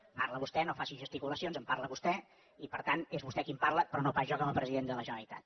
en parla vostè no faci gesticulacions en parla vostè i per tant és vostè qui en parla però no pas jo com a president de la generalitat